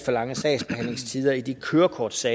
gå til